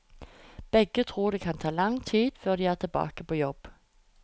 Begge tror det kan ta lang tid før de er tilbake på jobb.